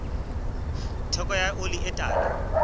theko ya oli e tala